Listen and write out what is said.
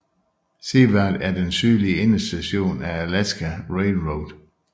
Seward er den sydlige endestation af Alaska Railroad